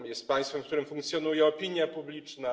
Jest państwem, w którym funkcjonuje opinia publiczna.